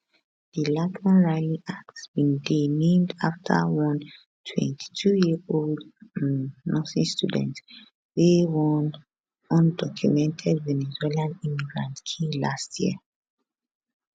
di laken riley act bin dey named afta one 22yearold um nursing student wey one undocumented venezuelan immigrant kill last year